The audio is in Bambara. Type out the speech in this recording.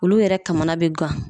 Olu yɛrɛ kamana be gan.